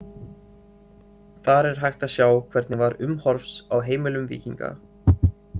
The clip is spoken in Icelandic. Þar er hægt að sjá hvernig var umhorfs á heimilum víkinga.